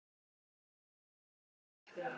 Það var fínt.